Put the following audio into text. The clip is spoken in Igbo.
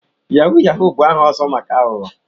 Yahoo yahoo bụ aha ọzọ maka aghụghọ.